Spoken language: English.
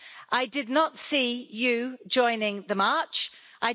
I did not see you joining the march, Mr Orbán.